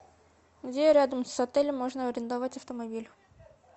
где рядом с отелем можно арендовать автомобиль